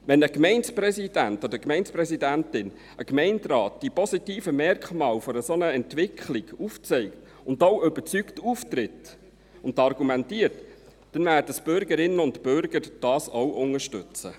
Wenn ein Gemeindepräsident, eine Gemeindepräsidentin, ein Gemeinderat die positiven Merkmale einer solchen Entwicklung aufzeigt und auch überzeugt auftritt und argumentiert, werden die Bürgerinnen und Bürger dies auch unterstützen.